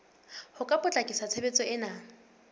ho ka potlakisa tshebetso ena